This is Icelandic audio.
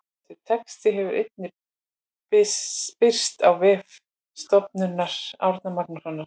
Þessi texti hefur einnig birst á vef Stofnunar Árna Magnússonar.